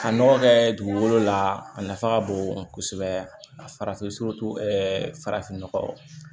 Ka nɔgɔ kɛ dugukolo la a nafa ka bon kosɛbɛ a farafin farafin nɔgɔ